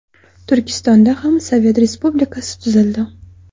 Turkistonda ham sovet respublikasi tuzildi.